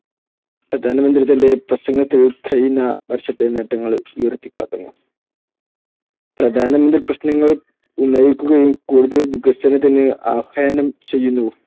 പ്രധാനമന്ത്രി തന്റെ പ്രസംഗത്തിൽ കഴിഞ്ഞ വർഷത്തെ നേട്ടങ്ങൾ ഉയർത്തിക്കാട്ടുന്നു. പ്രധാനപ്പെട്ട പ്രശ്നങ്ങൾ ഉന്നയിക്കുകയും കൂടുതൽ വികസനത്തിന് ആഹ്വാനം ചെയ്യുന്നു.